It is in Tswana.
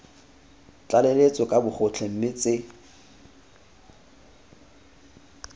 tlaleletso ka bogotlhe mme tse